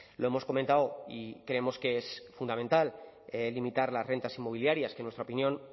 lo hemos comentado y creemos que es fundamental limitar las rentas inmobiliarias que en nuestra opinión